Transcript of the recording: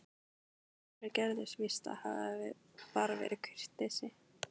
En það telur Gerður víst að hafi bara verið kurteisi.